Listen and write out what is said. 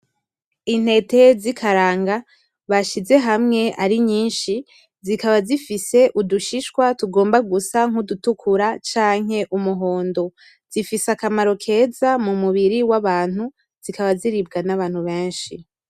Intete z'ikaranga bashize hamwe ari nyinshi, zikaba zifise udushishwa tugomba gusa nkudutukura canke umuhondo, zifise akamaro keza mu mubiri w'abantu zikaba ziribwa n'abantu benshi.